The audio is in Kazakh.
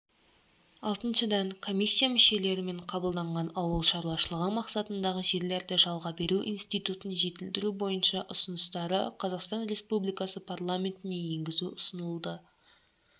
алтыншыдан комиссия мүшелерімен қабылданған ауыл шаруашылығы мақсатындағы жерлерді жалға беру институтын жетілдіру бойынша ұсыныстары қазақстан республикасы парламентіне енгізу ұсынылды